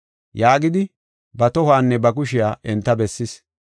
Yaagidi, ba tohuwanne ba kushiya enta bessis.